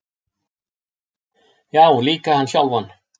Já, líka hann sjálfan.